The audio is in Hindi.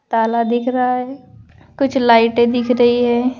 ताला दिख रहा है कुछ लाइटे दिख रही है।